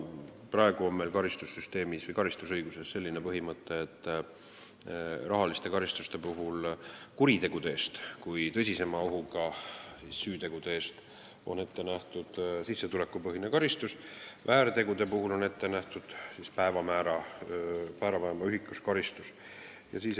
Praegu on meie karistusõiguses selline põhimõte, et rahaliste karistuste määramisel on kuritegude kui tõsisema ohuga süütegude eest ette nähtud sissetulekupõhine karistus, väärtegude eest on ette nähtud trahv päevamäära alusel.